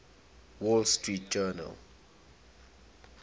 wall street journal